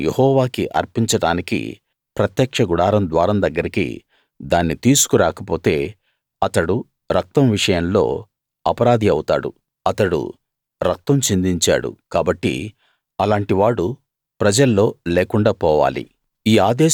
దాన్ని యెహోవాకి అర్పించడానికి ప్రత్యక్ష గుడారం ద్వారం దగ్గరికి దాన్ని తీసుకు రాకపోతే అతడు రక్తం విషయంలో అపరాధి అవుతాడు అతడు రక్తం చిందించాడు కాబట్టి అలాంటి వాడు ప్రజల్లో లేకుండా పోవాలి